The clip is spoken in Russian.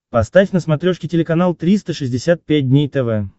поставь на смотрешке телеканал триста шестьдесят пять дней тв